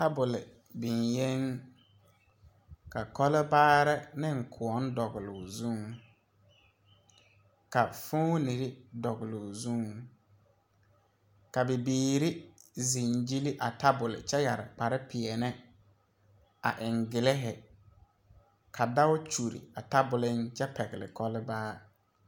Tabole biŋyeŋ ka kɔlbaarre neŋ kõɔ dɔgloo zuŋ ka foonirre dɔgloo zuŋ ka bibiire zeŋ gyille a tabole kyɛ yɛre kpare pèɛɛne a eŋ gilehi ka dao kyure a taboleŋ kyɛ pɛgle kɔlbaa.